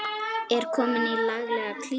Er komin í laglega klípu.